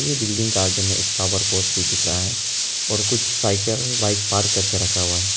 ये बिल्डिंग का आगे में एक तावर पोस भी दिख रहा है और कुछ साइकिल बाइक पार्क करके रखा हुआ है।